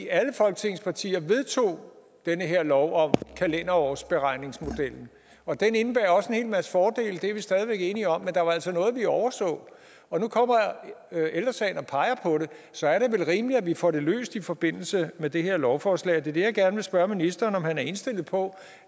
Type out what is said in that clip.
alle folketingets partier vedtog den her lov om kalenderårsberegningsmodellen og den indebærer også en hel masse fordele det er vi stadig væk enige om men der var altså noget vi overså og nu kommer ældre sagen og peger på det så er det vel rimeligt at vi får det løst i forbindelse med det her lovforslag og det er det jeg gerne vil spørge ministeren om han er indstillet på